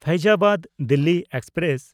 Faizabad Delhi express